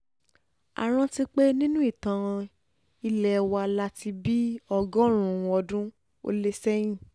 a rántí pé nínú ìtàn ilé wa láti bíi ọgọ́rùn-ún ọdún ó lé sẹ́yìn